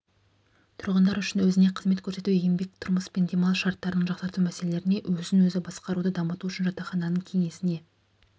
тұрғындар үшін өзіне қызмет көрсету еңбек тұрмыс пен демалыс шарттарын жақсарту мәселелерінде өзін-өзі басқаруды дамыту үшін жатақхананың кеңесіне